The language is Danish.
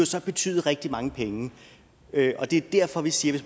så betyde rigtig mange penge det er derfor vi siger